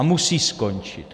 A musí skončit.